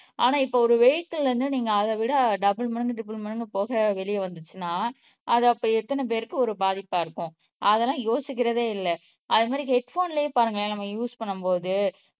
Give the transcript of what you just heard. ஆனா இப்ப ஒரு இருந்து நீங்க அதை விட டபுள் மடங்கு ட்ரிபிள் மடங்கு புகை வெளிய வந்துச்சின்னா அது அப்ப எத்தனை பேருக்கு ஒரு பாதிப்ப இருக்கும் அதெல்லாம் யோசிக்கிறதே இல்ல அது மாறி ஹெட் போன்லையே பாருங்களேன் நம்ம யூஸ் பண்ணும் போது